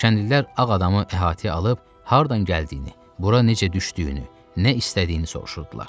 Kəndlilər ağ adamı əhatəyə alıb, hardan gəldiyini, bura necə düşdüyünü, nə istədiyini soruşurdular.